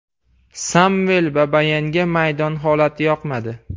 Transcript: Samvel Babayanga maydon holati yoqmadi.